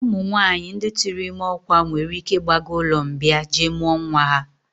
Ụmụnwaanyị ndị tụụrụ ime ọkwa nwere ike ịgbaga ụlọmbịa jee mụọ nwa ha